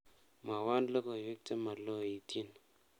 Mwawon logoywek chemaloityin